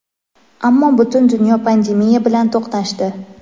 Ammo butun dunyo pandemiya bilan to‘qnashdi.